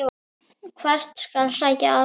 Hvert skal sækja aðstoð?